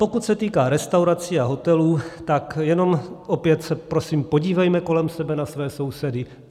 Pokud se týká restaurací a hotelů, tak jenom opět se prosím podívejme kolem sebe na své sousedy.